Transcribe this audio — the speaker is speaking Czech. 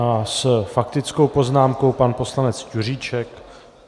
A s faktickou poznámkou pan poslanec Juříček.